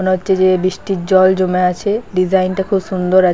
মনে হচ্ছে যে বৃষ্টির জল জমে আছে ডিজাইন -টা খুব সুন্দর আ--